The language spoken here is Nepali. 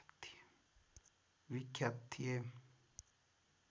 विख्यात थिए